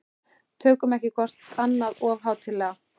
Tökum ekki hvort annað of hátíðlega.